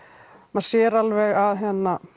maður sér alveg að